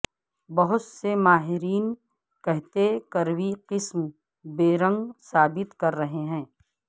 بہت سے ماہرین کہتے کروی قسم بیرنگ ثابت کر رہے ہیں